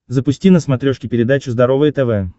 запусти на смотрешке передачу здоровое тв